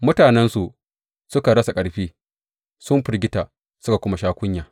Mutanensu, suka rasa ƙarfi, sun firgita suka kuma sha kunya.